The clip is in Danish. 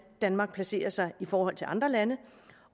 danmark placerer sig i forhold til andre lande